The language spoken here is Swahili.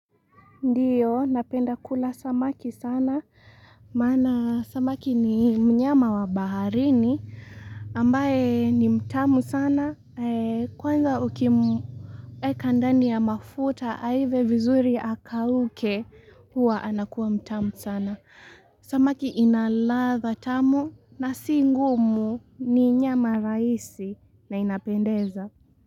Ndiyo, napenda kula samaki sana. Maana samaki ni mnyama wa baharini ambaye ni mtamu sana. Kwanza ukimweka ndani ya mafuta aive vizuri akauke huwa anakuwa mtamu sana. Samaki ina ladha tamu, na si ngumu ni nyama rahisi na inapendeza.